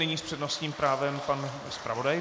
Nyní s přednostním právem pan zpravodaj.